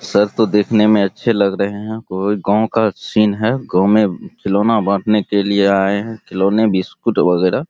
sir तो देखने मे अच्छे लग रहे हैं | कोई गाँव का सीन है गाँव मे खिलौना बांटने के लिए आए हैं खिलौना बिस्कुट वगैरह --